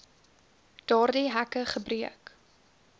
daardie hekke gebreek